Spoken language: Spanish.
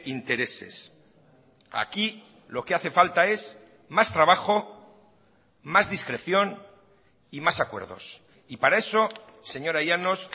intereses aquí lo que hace falta es más trabajo más discreción y más acuerdos y para eso señora llanos